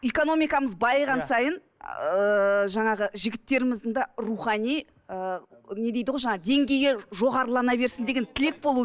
экономикамыз байыған сайын ыыы жаңағы жігітеріміздің де рухани ы не дейді ғой жаңағы деңгейі жоғарылана берсін деген тілек болу